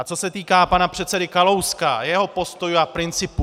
A co se týká pana předsedy Kalouska, jeho postojů a principů.